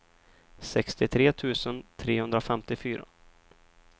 sextiotre tusen trehundrafemtiofyra